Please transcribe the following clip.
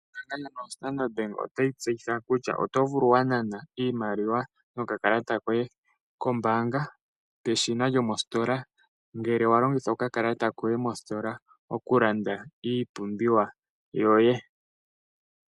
Ombaanga yoStandard bank otayi tseyitha kutya oto vulu wa nana iimaliwa nokakalata koye koombanga peshina lyomostola, ngele wa longitha okakalata koye mositola oku landa iipumbiwa yoye.